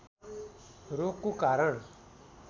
रोगको कारण